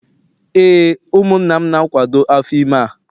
Ee, ụmụnna m na-akwado afọ ime a